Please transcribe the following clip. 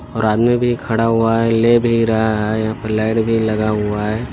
और आदमी भी खड़ा हुआ है ले भी रहा है यहाँ पे लाइट लग हुआ है।